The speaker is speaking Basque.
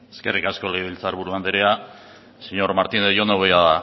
eskerrik asko legebiltzar buru andrea señor martínez yo no voy a